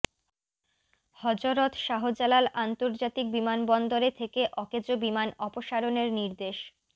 হযরত শাহজালাল আন্তর্জাতিক বিমানবন্দরে থেকে অকেজো বিমান অপসারণের নির্দেশ